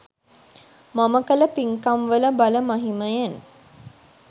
මම කළ පින්කම්වල බල මහිමයෙන්